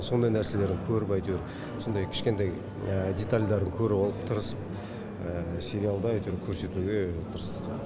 сондай нәрселерді көріп әйтеуір сондай кішкентай детальдарды көріп алып тырысып сериалда әйтеуір көрсетуге тырыстық